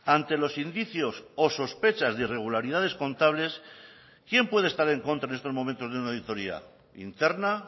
ante los indicios o sospechas de irregularidades contables quién puede estar en contra en estos momentos de una auditoría interna